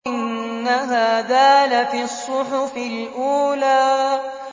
إِنَّ هَٰذَا لَفِي الصُّحُفِ الْأُولَىٰ